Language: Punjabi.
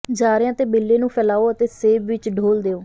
ਜਾਰਿਆਂ ਤੇ ਬਿੱਲੇ ਨੂੰ ਫੈਲਾਓ ਅਤੇ ਸੇਬ ਵਿੱਚ ਡੋਲ੍ਹ ਦਿਓ